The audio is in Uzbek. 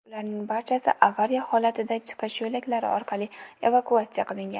Ularning barchasi avariya holatida chiqish yo‘laklari orqali evakuatsiya qilingan.